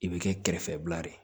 I bɛ kɛ kɛrɛfɛbila ye